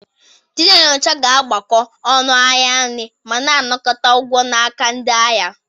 Ndị na-enyocha ga-agbakọ ọnụ ahịa nri ma na-anakọta ụgwọ n'aka ndị ahịa.